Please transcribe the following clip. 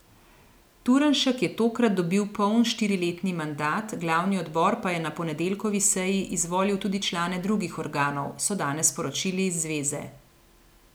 Turnšek je tokrat dobil poln štiriletni mandat, glavni odbor pa je na ponedeljkovi seji izvolil tudi člane drugih organov, so danes sporočili iz zveze.